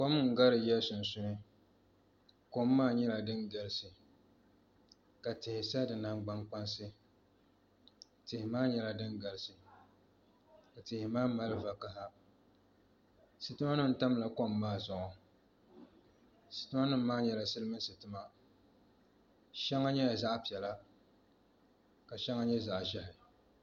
Kom n gari yiya sunsuuni kom maa nyɛla din galisi ka tihi sa di nangbani kpaŋa tihi maa nyɛla din galisi ka tihi maa mali vakaɣa sitima nim tamla kom maa zuɣu sitima nim maa nyɛla silmiin sitima shɛŋa nyɛla zaɣ piɛla ka shɛŋa nyɛ zaɣ ʒiɛhi